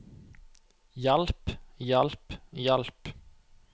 hjalp hjalp hjalp